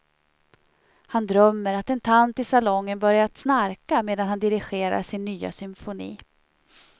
Han drömmer att en tant i salongen börjat snarka medan han dirigerar sin nya symfoni.